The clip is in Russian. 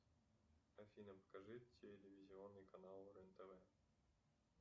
афина покажи телевизионный канал рен тв